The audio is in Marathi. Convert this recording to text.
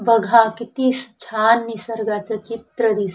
बघा किती श छान निसर्गाचं चित्र दिस--